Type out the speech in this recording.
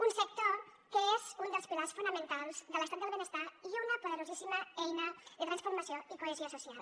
un sector que és un dels pilars fonamentals de l’estat del benestar i una poderosíssima eina de transformació i cohesió social